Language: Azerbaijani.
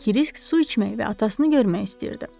Krisk su içmək və atasını görmək istəyirdi.